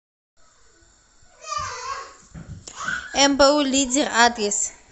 мбу лидер адрес